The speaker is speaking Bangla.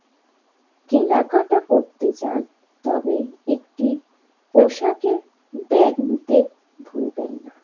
কেনাকাটা করতে যান তবে একটি পোশাকের ব্যাগ নিতে ভুলবেন না।